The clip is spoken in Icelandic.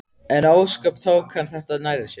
En ósköp tók hann þetta nærri sér.